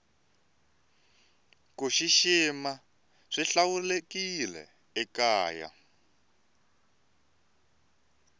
kushishima swihlawurekile ekaya